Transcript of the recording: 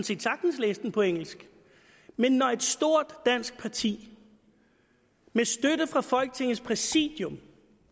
set sagtens læse den på engelsk men når et stort dansk parti med støtte fra folketingets præsidium